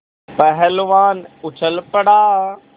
पहलवान उछल पड़ा